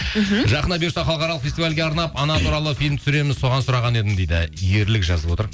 мхм жақында бұйырса халықаралық фестивальге арнап ана туралы фильм түсіреміз соған сұраған едім дейді ерлік жазып отыр